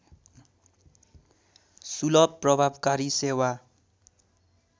सुलभ प्रभावकारी सेवा